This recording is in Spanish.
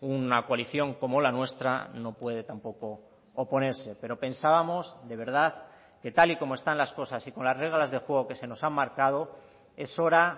una coalición como la nuestra no puede tampoco oponerse pero pensábamos de verdad que tal y como están las cosas y con las reglas de juego que se nos han marcado es hora